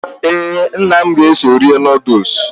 Ee, nna m ga-eso eri nọọdus